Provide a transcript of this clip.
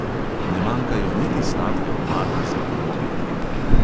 Ne manjkajo niti sladke omake za poobedke.